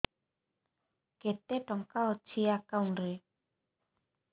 କେତେ ଟଙ୍କା ଅଛି ଏକାଉଣ୍ଟ୍ ରେ